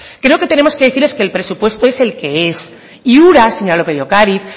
creo que tenemos que decirles que el presupuesto es el que es y ura señora lópez de ocariz